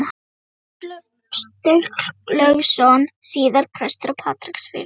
Einar Sturlaugsson, síðar prestur á Patreksfirði.